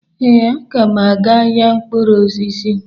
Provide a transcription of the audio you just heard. Ee, m ga-aga ahịa mkpụrụ osisi.